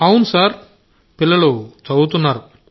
అవును సార్ పిల్లలు చదువుతున్నారు